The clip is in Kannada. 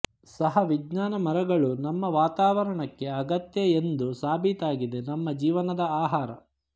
ಸಹ ವಿಜ್ಞಾನ ಮರಗಳು ನಮ್ಮ ವಾತಾವರಣಕ್ಕೆ ಅಗತ್ಯ ಎಂದು ಸಾಬೀತಾಗಿದೆ ನಮ್ಮ ಜೀವನದ ಆಹಾರ